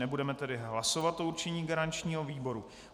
Nebudeme tedy hlasovat o určení garančního výboru.